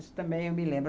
Isso também eu me lembro.